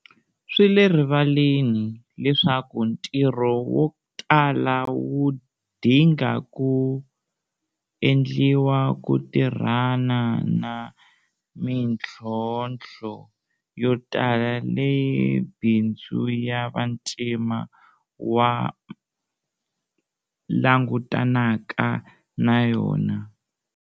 Swi le rivaleni leswaku ntirho wo tala wu dinga ku endliwa ku tirhana na mitlhontlho yo tala leyi bindzu ya vantima wa langutanaka na yona.